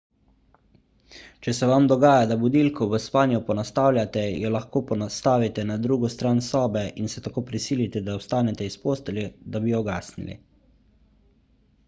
če se vam dogaja da budilko v spanju ponastavljate jo lahko postavite na drugo stran sobe in se tako prisilite da vstanete iz postelje da bi jo ugasnili